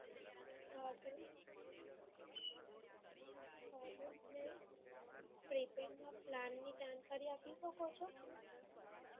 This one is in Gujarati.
prepaid નાં plan ની જાણકારી આપી શકો છો?